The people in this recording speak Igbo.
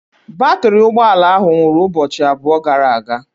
Batrị ụgbọ ala ahụ nwụrụ ụbọchị abụọ gara aga.